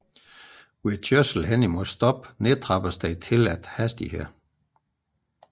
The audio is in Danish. Ved kørsel hen imod standsning nedtrappes den tilladte hastighed